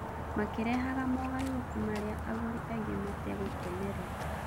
Makĩrehaga mogarũrũku marĩa agũri aingi mategũkenerera.